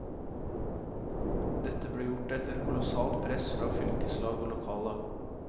Dette ble gjort etter kolossalt press fra fylkeslag og lokallag.